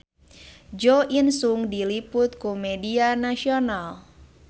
Jo In Sung diliput ku media nasional